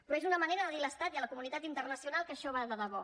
però és una manera de dir a l’estat i a la comunitat internacional que això va de debò